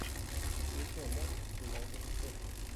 включай матч юнайтед шеффилд